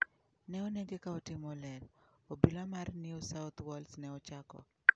Ne omonje ka otimo ler , obila mar New South Wales ne ochako.